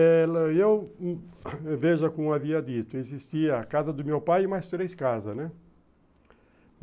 Ele e eu, veja como havia dito, existia a casa do meu pai e mais três casas, né?